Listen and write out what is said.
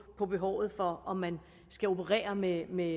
på behovet for om man skal operere med med